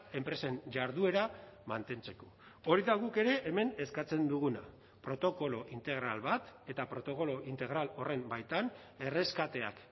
enpresen jarduera mantentzeko hori da guk ere hemen eskatzen duguna protokolo integral bat eta protokolo integral horren baitan erreskateak